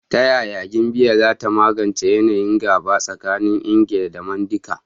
Ta yaya Gambia za ta magance yanayin gaba tsakanin Ingilishi da Mandinka?